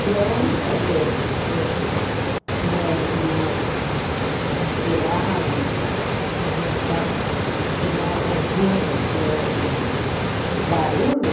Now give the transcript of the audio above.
Que a única vez que minhas irmãs atiraram para aposentar, que nós ouvimos o mesmo barulho,